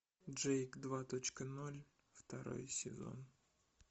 джейк два точка ноль второй сезон